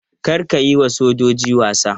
Kar ka yi wa sojojin wasa!